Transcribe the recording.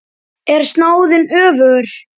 Er snáðinn öfugur?